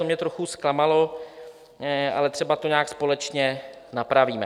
To mě trochu zklamalo, ale třeba to nějak společně napravíme.